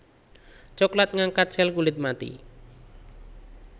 Cokelat ngangkat sel kulit mati